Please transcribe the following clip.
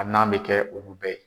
A nan bɛ kɛ olu bɛɛ ye.